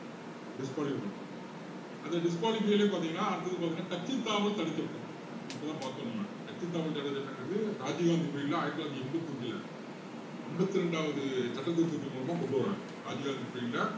disqualify பண்ணுவாரு அந்த disqualify லயும் பாத்தீங்கன்னா அடுத்தது பாத்தீங்கன்னா கட்சித்தாவல் தடைச்சட்டம் இது இப்போதான் பாத்தோம் நம்ம கட்சித்தாவல் தடைச்சட்டங்கறது ராஜிவ் காந்தி period ல ஆயிரத்து தொள்ளாயிரத்து எண்பத்தி அஞ்சுல ஐம்பத்தி இரண்டாவது சட்ட திருத்தத்தின் மூலமா கொண்டுவர்றாங்க ராஜிவ் காந்தி period ல